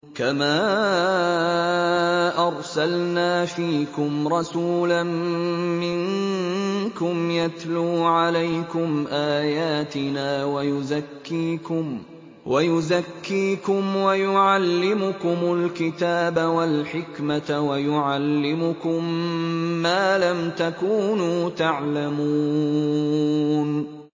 كَمَا أَرْسَلْنَا فِيكُمْ رَسُولًا مِّنكُمْ يَتْلُو عَلَيْكُمْ آيَاتِنَا وَيُزَكِّيكُمْ وَيُعَلِّمُكُمُ الْكِتَابَ وَالْحِكْمَةَ وَيُعَلِّمُكُم مَّا لَمْ تَكُونُوا تَعْلَمُونَ